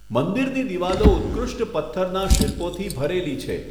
મંદિરની દિવાલો ઉત્કૃષ્ટ પથ્થરના શિલ્પોથી ભરેલી છે.